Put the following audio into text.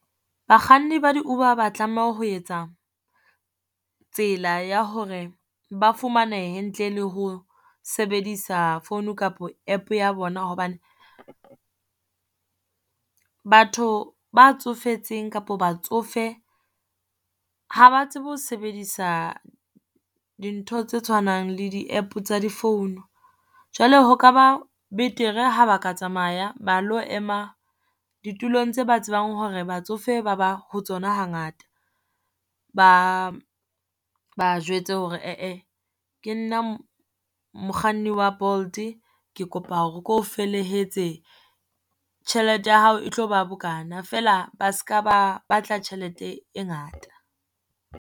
Bakganni ba di-Uber ha ba tlameha ho etsa tsela ya hore ba fumanehe, ntle le ho sebedisa phone kapo App ya bona hobane, batho ba tsofetseng kapo batsofe ha ba tsebe ho sebedisa dintho tse tshwanang le di-App tsa di-phone. Jwale ho ka ba betere ha ba ka tsamaya ba lo ema ditulong tse ba tsebang hore batsofe ba ba ho tsona hangata. Ba ba jwetse hore ke nna mokganni wa Bolt, ke kopa ke ho felehetse tjhelete ya hao e tlo ba bokana, feela ba se ka ba batla tjhelete e ngata.